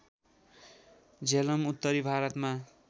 झेलम उत्तरी भारतमा